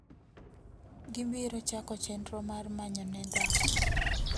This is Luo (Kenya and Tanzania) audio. gibiro chako chenro mar manyone dhako .